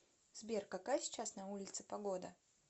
сбер какая сейчас на улице погода